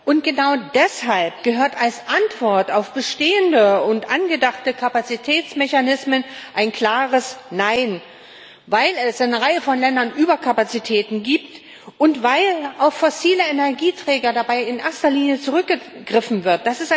Und genau deshalb gehört als Antwort auf bestehende und angedachte Kapazitätsmechanismen ein klares Nein, weil es in einer Reihe von Ländern Überkapazitäten gibt und weil dabei in erster Linie auf fossile Energieträger zurückgegriffen wird.